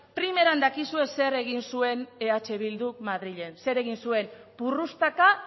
primeran dakizue zer egin zuen eh bilduk madrilen zer egin zuen purrustaka